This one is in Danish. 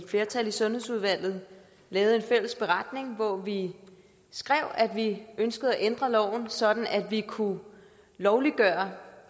flertal i sundhedsudvalget lavede en fælles beretning hvor vi skrev at vi ønskede at ændre loven sådan at vi kunne lovliggøre